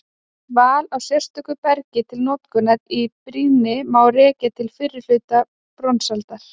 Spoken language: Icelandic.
Val á sérstöku bergi til notkunar í brýni má rekja til fyrri hluta bronsaldar.